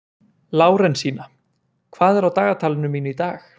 Lárensína, hvað er á dagatalinu mínu í dag?